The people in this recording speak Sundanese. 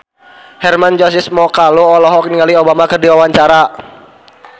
Hermann Josis Mokalu olohok ningali Obama keur diwawancara